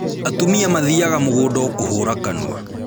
Atumia mathiaga mũgũnda o kũhũra kanua